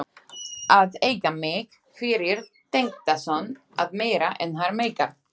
Að eiga mig fyrir tengdason er meira en hann meikar.